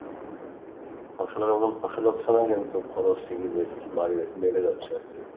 ফসলের এখন ফসল হচ্ছে না কিন্তু খরচ ঠিকই বের বাড়ে বেড়ে যাচ্ছে আরকি,